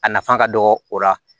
A nafa ka dɔgɔ o la